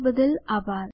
જોડાવા બદ્દલ આભાર